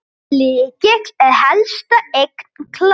Lykill er helsta eign Klakka.